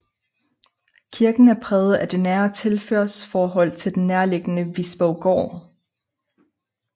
Kirken er præget af det nære tilhørsforhold til den nærliggende Visborggård